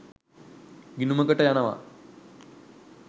ගිණුමකට යනවා